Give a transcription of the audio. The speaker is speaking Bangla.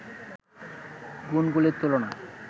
গুণগুলির তুলনা